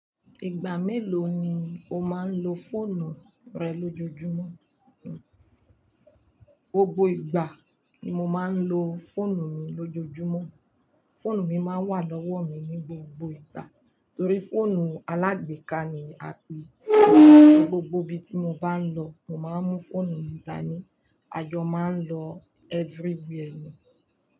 Ìgbà mélòó ni o máa ń lo fóònù rẹ lójoojúmọ́? Gbogbo ìgbà ni mo máa ń lo fóònù mi lójoojúmọ́. Fóònù mi máa wà lọ́wọ́ mi ní gbogbo ìgbà torí fóònù alágbèéká ni a pè é. Gbogbo ibi tí mo bá ń lọ, mo máa mú fóònù mi dání. Ajo máa ń lọ everywhere ni.